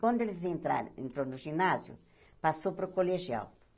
Quando eles entraram, entrou no ginásio, passou para o colegial.